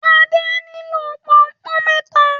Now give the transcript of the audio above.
Ade nilo Pọnpọ́n méta